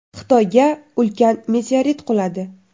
Xitoyga ulkan meteorit quladi.